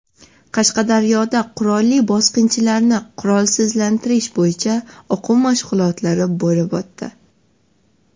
Qashqadaryoda qurolli bosqinchilarni qurolsizlantirish bo‘yicha o‘quv mashg‘ulotlari bo‘lib o‘tdi .